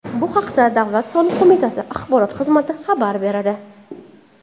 Bu haqda Davlat soliq qo‘mitasi axborot xizmati xabar beradi .